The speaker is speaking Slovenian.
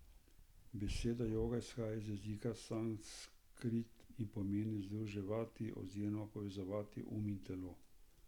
Beseda joga izhaja iz jezika sanskrt in pomeni združevati oziroma povezovati um in telo.